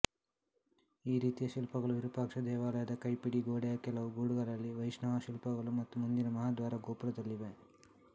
ಈ ರೀತಿಯ ಶಿಲ್ಪಗಳು ವಿರೂಪಾಕ್ಷ ದೇವಾಲಯದ ಕೈಪಿಡಿಗೋಡೆಯ ಕೆಲವು ಗೂಡುಗಳಲ್ಲಿವೈಷ್ಣವ ಶಿಲ್ಪಗಳು ಮತ್ತು ಮುಂದಿನ ಮಹಾದ್ವಾರ ಗೋಪುರದಲ್ಲಿವೆ